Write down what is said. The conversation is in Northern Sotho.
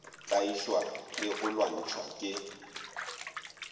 tlaišwa le go lwantšhwa ke